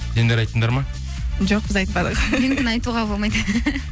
сендер айттыңдар ма жоқ біз айтпадық менікін айтуға болмайды